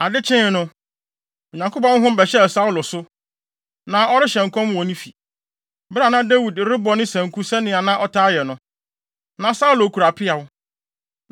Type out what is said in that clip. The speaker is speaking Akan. Ade kyee no, Onyankopɔn honhom bɛhyɛɛ Saulo so. Na ɔrehyɛ nkɔm wɔ ne fi, bere a na Dawid rebɔ ne sanku sɛnea na ɔtaa yɛ no. Na Saulo kura peaw